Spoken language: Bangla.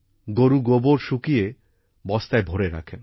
গরুর গোবর শুকিয়ে বস্তায় ভরে রাখেন